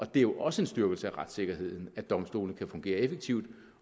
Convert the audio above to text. det er også en styrkelse af retssikkerheden at domstolene kan fungere effektivt